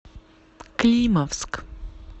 климовск